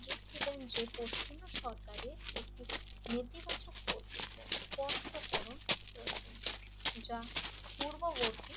যে পশ্চিমা সরকারের একটি ইতিবাচক কর্তব্য স্পষ্ট করন প্রয়োজন যা পূর্ববর্তী